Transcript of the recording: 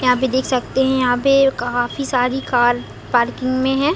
यहाँ पे देख सकते है यहाँ पे काफी सारी कार पार्किंग में है।